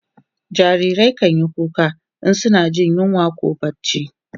jarirai kanyi kuka in suna Jin yunwa koh barci